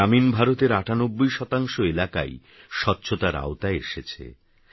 গ্রামীণভারতের৯৮শতাংশএলাকাইস্বচ্ছতারআওতায়এসেছে